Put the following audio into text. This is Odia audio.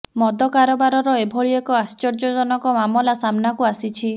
ମଦ କାରବାରର ଏଭଳି ଏକ ଆଶ୍ଚର୍ଯ୍ୟଜନକ ମାମଲା ସାମ୍ନାକୁ ଆସିଛି